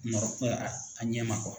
a ɲɛ ma